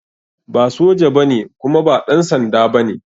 Ba soja ba ne kuma ba ɗansanda ba ne